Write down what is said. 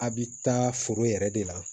A bi taa foro yɛrɛ de la